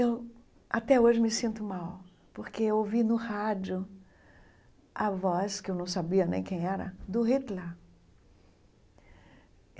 Eu até hoje me sinto mal, porque eu ouvi no rádio a voz, que eu não sabia nem quem era, do Hitler.